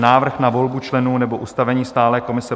Návrh na volbu členů nebo ustavení stálé komise